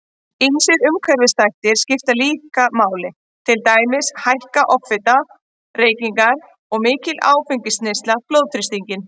Ýmsir umhverfisþættir skipta líka máli, til dæmis hækka offita, reykingar og mikil áfengisneysla blóðþrýstinginn.